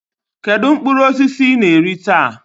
Kedu mkpụrụ osisi ị na-eri taa?